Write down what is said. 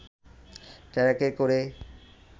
ট্রাকে করে